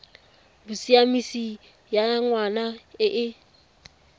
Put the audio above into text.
bosiamisi ya ngwana e e